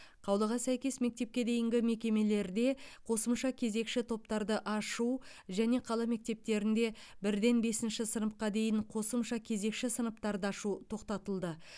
қаулыға сәйкес мектепке дейінгі мекемелерде қосымша кезекші топтарды ашу және қала мектептерінде бірден бесінші сыныпқа дейін қосымша кезекші сыныптарды ашу тоқтатылды